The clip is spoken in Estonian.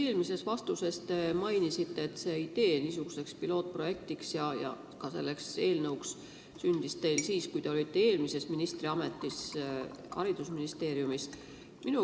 Ühes vastuses te mainisite, et niisuguse pilootprojekti ja ka selle eelnõu idee sündis teil siis, kui te olite eelmises ministriametis haridusministeeriumis.